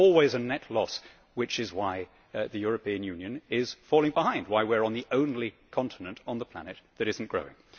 There is always a net loss, which is why the European Union is falling behind, why we are on the only continent on the planet that is not growing.